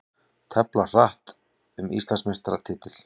Tefla hratt um Íslandsmeistaratitil